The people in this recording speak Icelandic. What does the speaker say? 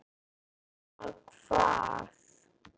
Nema hvað?